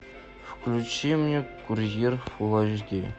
включи мне курьер фул эйч ди